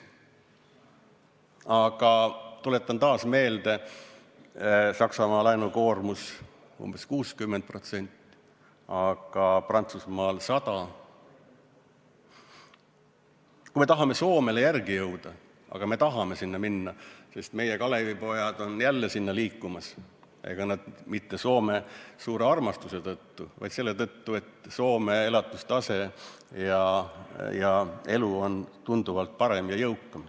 Aga tuletan taas meelde: Saksamaa laenukoormus on umbes 60%, Prantsusmaal 100%.